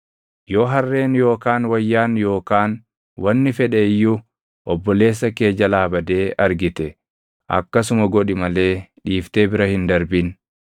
Yoo harreen yookaan wayyaan yookaan wanni fedhe iyyuu obboleessa kee jalaa badee argite akkasuma godhi malee dhiiftee bira hin darbin.